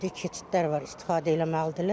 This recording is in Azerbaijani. Bu keçidlər var istifadə eləməlidirlər.